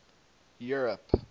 europe